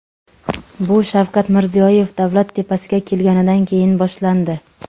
Bu Shavkat Mirziyoyev davlat tepasiga kelganidan keyin boshlandi.